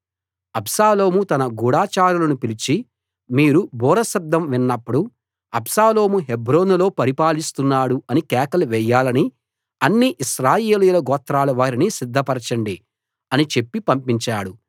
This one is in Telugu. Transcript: అబ్షాలోము తన గూఢచారులను పిలిచి మీరు బూర శబ్దం విన్నప్పుడు అబ్షాలోము హెబ్రోనులో పరిపాలిస్తున్నాడు అని కేకలు వేయాలని అన్ని ఇశ్రాయేలీయుల గోత్రాల వారిని సిద్ధపరచండి అని చెప్పి పంపించాడు